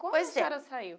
pois é. Como a senhora saiu?